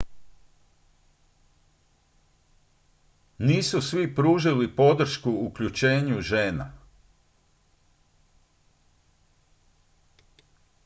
nisu svi pružili podršku uključenju žena